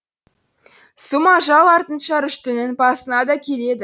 сұм ажал артынша рүштінің басына да келеді